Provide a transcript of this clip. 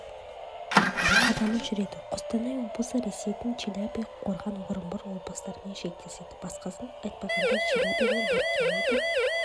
қадамы жүреді қостанай облысы ресейдің челябі қорған орынбор облыстарымен шектеседі басқасын айтпағанда челябі мен магнитогор